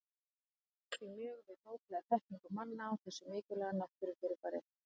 Hann jók því mjög við bóklega þekkingu manna á þessu mikilvæga náttúrufyrirbæri.